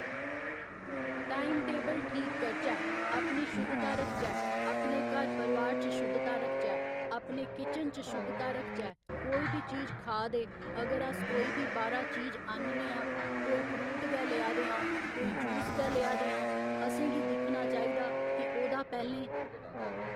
time table ठीक करचै अपनी शुद्धता रखचै अपने घर परोआर च शुद्धता रखचै अपने किचन च शुद्धता रखचै कोई बी चीज खा दे अगर अस कोई बी बाह्‌रा चीज आह्नने आं कोई फ्रूट गै लेआ दे आं कोई जूस गै लेआ दे आं असें गी दिक्खना चाहिदा कि ओह्दा पैह्‌लें